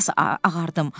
Bir az ağardım.